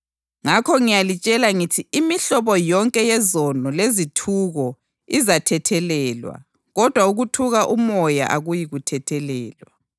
Ngakho ngiyalitshela ngithi imihlobo yonke yezono lezithuko izathethelelwa, kodwa ukuthuka uMoya akuyi kuthethelelwa.